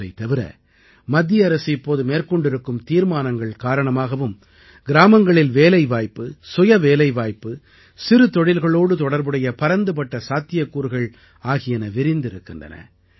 இவற்றைத் தவிர மத்திய அரசு இப்போது மேற்கொண்டிருக்கும் தீர்மானங்கள் காரணமாகவும் கிராமங்களில் வேலைவாய்ப்பு சுயவேலைவாய்ப்பு சிறுதொழில்களோடு தொடர்புடைய பரந்துபட்ட சாத்தியக்கூறுகள் ஆகியன விரிந்திருக்கின்றன